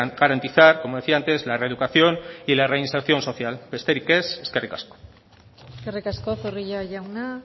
garantizar como decía antes la reeducación y la reinserción social besterik ez eskerrik asko eskerrik asko zorrilla jauna